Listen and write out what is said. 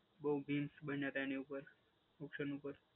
બહુ બીન્સ બન્યા હતા એની ઉપર, ઓક્શન ઉપર.